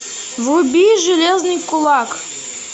вруби железный кулак